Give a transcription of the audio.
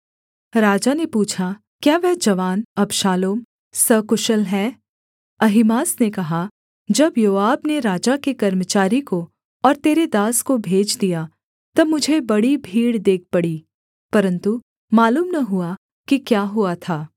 राजा ने पूछा क्या वह जवान अबशालोम सकुशल है अहीमास ने कहा जब योआब ने राजा के कर्मचारी को और तेरे दास को भेज दिया तब मुझे बड़ी भीड़ देख पड़ी परन्तु मालूम न हुआ कि क्या हुआ था